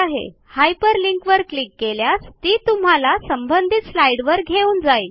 hyperlink वर click केल्या केल्यास ती तुम्हाला संबंधित स्लाईडवर घेऊन जाईल